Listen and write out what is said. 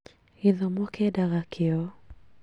Gĩthomo kĩendaga kĩo